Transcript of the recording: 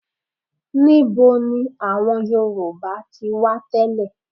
Níbo ni àwọn Yorùbá ti wá tẹ́lẹ̀?